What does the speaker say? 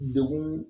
Degun